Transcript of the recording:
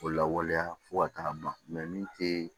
O lawaleya fo ka taa ban min te